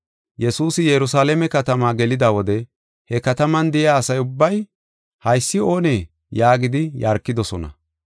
Yesuusi Yerusalaame katamaa gelida wode he kataman de7iya asa ubbay, “Haysi oonee?” yaagidi yarkidosona.